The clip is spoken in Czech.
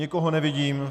Nikoho nevidím.